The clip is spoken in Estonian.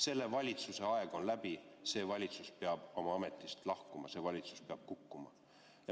Selle valitsuse aeg on läbi, see valitsus peab oma ametist lahkuma, see valitsus peab kukkuma.